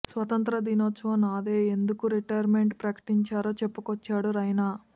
స్వతంత్ర దినోత్సవం నాదే ఎందుకు రిటైర్మెంట్ ప్రకటించారో చెప్పుకొచ్చాడు రైనా